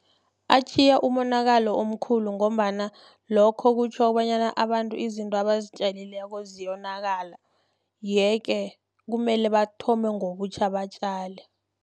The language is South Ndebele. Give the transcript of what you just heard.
Atjhiya umonakalo omkhulu, ngombana lokho kutjho bonyana abantu izinto abazitjalileko ziyonakala. Yeke, kumele bathome ngobutjha batjale.